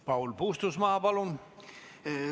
Paul Puustusmaa, palun!